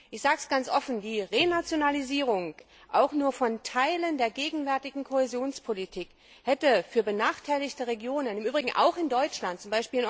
Ich sage es ganz offen Die Renationalisierung auch nur von Teilen der gegenwärtigen Kohäsionspolitik hätte für benachteiligte Regionen, im Übrigen auch in Deutschland, z.